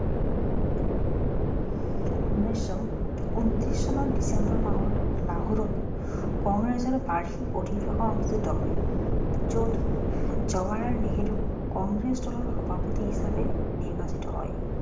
উনৈছশ উনত্ৰিছ চনৰ ডিচেম্বৰ মাহত লাহোৰত কংগ্ৰেছৰ বাৰ্ষিক অধিবেশন অনুষ্ঠিত হয় যত জৱাহৰলাল নেহেৰু কংগ্ৰেছ দলৰ সভাপতি হিচাপে নিৰ্বাচিত হয়